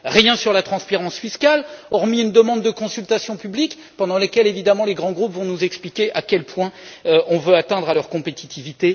Rien sur la transparence fiscale, hormis une demande de consultation publique, pendant laquelle, évidemment, les grands groupes vont nous expliquer à quel point nous voulons attenter à leur compétitivité.